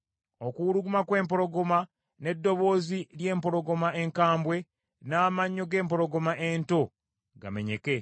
Okuwuluguma kw’empologoma, n’eddoboozi ly’empologoma enkambwe, n’amannyo g’empologoma ento gamenyeka.